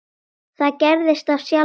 Það gerðist af sjálfu sér.